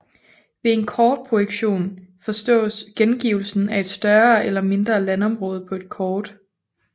Ved en kortprojektion forstås gengivelsen af et større eller mindre landområde på et kort